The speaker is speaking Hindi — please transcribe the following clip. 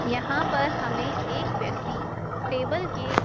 यहां पर हमें एक व्यक्ति टेबल के--